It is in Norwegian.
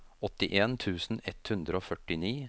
åttien tusen ett hundre og førtini